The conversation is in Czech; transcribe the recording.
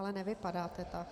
Ale nevypadáte tak.